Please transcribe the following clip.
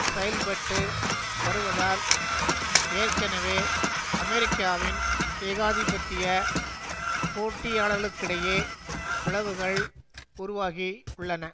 செயல்பட்டு வருவதால் ஏற்கனவே அமெரிக்காவின் ஏகாதிபத்திய போட்டியாளர்களுக்கிடையே பிளவுகள் உருவாகி உள்ளன